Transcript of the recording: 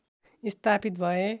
स्थापित भए